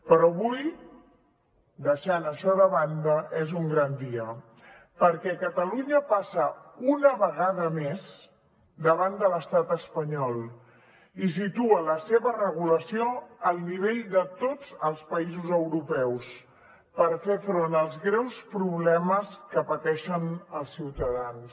però avui deixant això de banda és un gran dia perquè catalunya passa una vegada més davant de l’estat espanyol i situa la seva regulació al nivell de tots els països europeus per fer front als greus problemes que pateixen els ciutadans